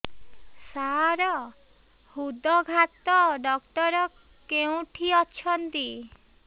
ସାର ହୃଦଘାତ ଡକ୍ଟର କେଉଁଠି ଅଛନ୍ତି